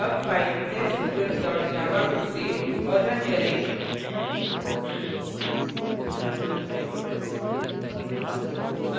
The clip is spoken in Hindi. अब file teststudent dot java को सेव और now करें